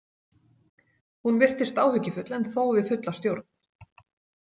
Hún virtist áhyggjufull en þó við fulla stjórn.